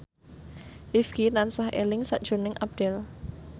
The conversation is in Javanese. Rifqi tansah eling sakjroning Abdel